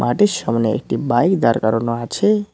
মাঠের সামোনে একটি বাইক দাঁড় করানো আছে।